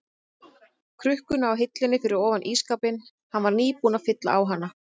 krukkuna á hillunni fyrir ofan ísskápinn, hann var nýbúinn að fylla á hana.